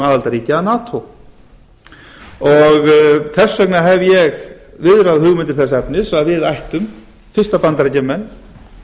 aðildarríki að nato þess vegna hef ég viðrað hugmyndir þess efnis að við ættum fyrst að bandaríkjamenn